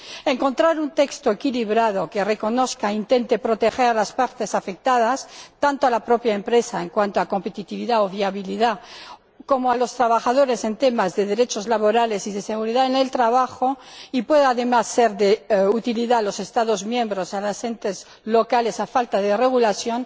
No es fácil encontrar un texto equilibrado que reconozca e intente proteger a las partes afectadas, tanto a la propia empresa en cuanto a competitividad o viabilidad como a los trabajadores en temas de derechos laborales y de seguridad en el trabajo, y que pueda, además, ser de utilidad para los Estados miembros y los entes locales a falta de regulación,